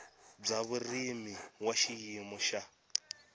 bya vurimi wa xiyimo xa